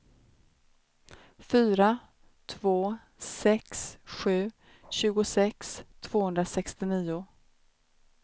fyra två sex sju tjugosex tvåhundrasextionio